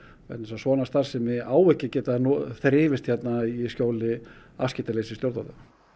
vegna þess a svona starfsemi á ekki að geta þrifist hérna í skjóli afskiptaleysis stjórnvalda